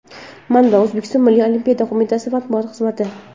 Manba: O‘zbekiston Milliy Olimpiya qo‘mitasi matbuot xizmati.